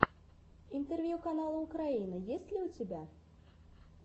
интервью канала украина есть ли у тебя